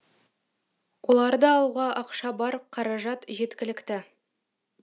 оларды алуға ақша бар қаражат жеткілікті